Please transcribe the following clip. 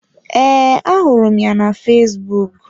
Ee, ahụrụ m ya na fesbụụk.